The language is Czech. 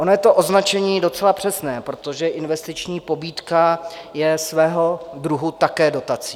Ono je to označení docela přesné, protože investiční pobídka je svého druhu také dotací.